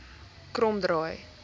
kromdraai